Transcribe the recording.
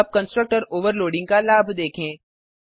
अब constructor overloading का लाभ देखें